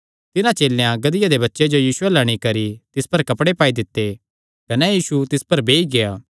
तिन्हां चेलेयां गधिया दे बच्चे जो यीशु अल्ल अंणी करी तिस पर कपड़े पाई दित्ते कने यीशु तिस पर बेई गेआ